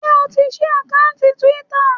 Ṣé o ti ṣí àkántì Twitter?